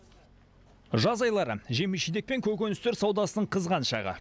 жаз айлары жеміс жидек пен көкөністер саудасының қызған шағы